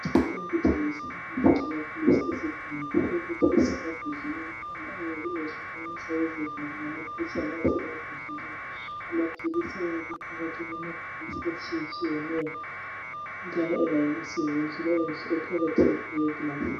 Kuthengiswa imithi lamaphilisi awezigulane. Imithi isemambodleleni awo ayabe ehlukaniswa yizivalo lamaphetshana asemambodleleni. Amaphilisi ayabe ephakathi kwmabhokisini atshiyetshiyeneyo, elayinisiwe ngendlela enhle ekhabothini eyeglasi.